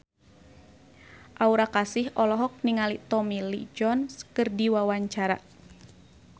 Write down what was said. Aura Kasih olohok ningali Tommy Lee Jones keur diwawancara